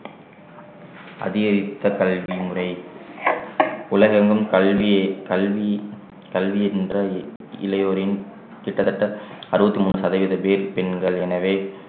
அதிகரித்த கல்வி முறை உலகெங்கும் கல்வியை கல்வி கல்வி என்ற இளையோரின் கிட்டத்தட்ட அறுபத்தி மூணு சதவீதம் பேர் பெண்கள் எனவே